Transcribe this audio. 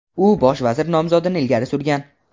u bosh vazir nomzodini ilgari surgan.